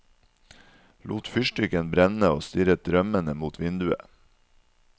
Lot fyrstikken brenne og stirret drømmende mot vinduet.